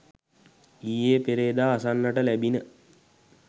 ඊයේ පෙරේදා අසන්නට ලැබිණ.